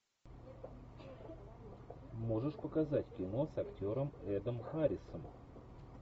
можешь показать кино с актером эдом харрисом